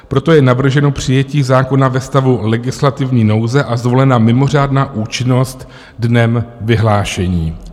Proto je navrženo přijetí zákona ve stavu legislativní nouze a zvolena mimořádná účinnost dnem vyhlášení.